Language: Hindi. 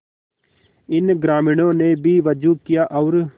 इन ग्रामीणों ने भी वजू किया और